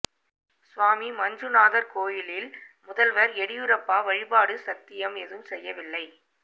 சுவாமி மஞ்சுநாதர் கோயிலில் முதல்வர் எடியூரப்பா வழிபாடு சத்தியம் எதுவும் செய்யவில்லை